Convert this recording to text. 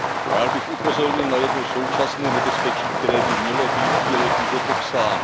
Rád bych upozornil na jedno současné nebezpečí, které by mělo být v bílé knize popsáno.